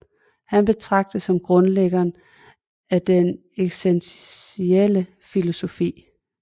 Han betragtes som grundlæggeren af den eksistentielle filosofi